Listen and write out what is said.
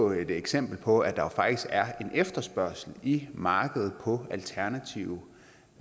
et eksempel på at der faktisk er en efterspørgsel i markedet på alternative